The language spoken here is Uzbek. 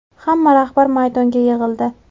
Hamma rahbar maydonga yig‘ildi.